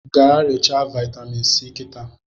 Gaa rechaa vitamin si kịtaa